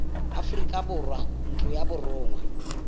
aforika borwa ntlo ya borongwa